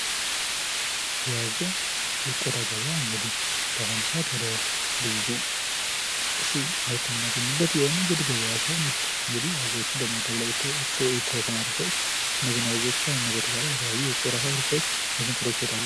የአዞ የቆዳ ገበያ በአሁኑ ሰዓት ወደ ብዙ ሺ ምርት የምናገኝበት የንግድ ገበያ ሲሆን ይህም አዞዎችን የሚያገኝ የተሰማሩ ሰዎች እነዚህን ለቆዳ ፋብሪካዎች ይሸጣሉ።